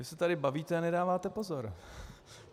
Vy se tady bavíte a nedáváte pozor!